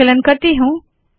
संकलन करती हूँ